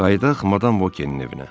Qayıdaq Madam Vokinin evinə.